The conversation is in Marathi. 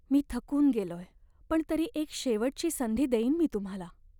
मी थकून गेलोय पण तरी एक शेवटची संधी देईन मी तुम्हाला.